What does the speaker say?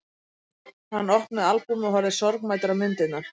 Hann opnaði albúmið og horfði sorgmæddur á myndirnar.